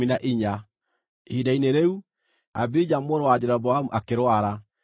Ihinda-inĩ rĩu, Abija mũrũ wa Jeroboamu akĩrwara,